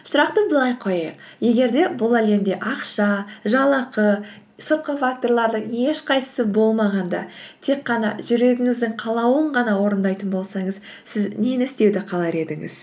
сұрақты былай қояйық егер де бұл әлемде ақша жалақы сыртқы факторлардың ешқайсысы болмағанда тек қана жүрегіңіздің қалауын ғана орындайтын болсаңыз сіз нені істеуді қалар едіңіз